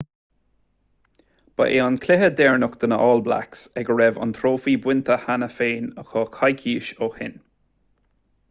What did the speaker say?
ba é an cluiche deireanach do na all blacks ag a raibh an trófaí bainte cheana féin acu coicís ó shin